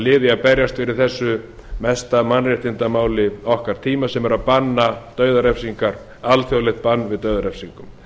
í að berjast fyrir þessu mesta mannréttindamáli okkar tíma sem er að setja alþjóðlegt bann við dauðarefsingum